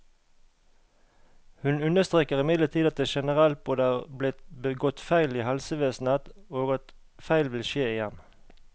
Hun understreker imidlertid at det generelt både er blitt begått feil i helsevesenet, og at feil vil skje igjen.